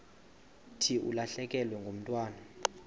thi ulahlekelwe ngumntwana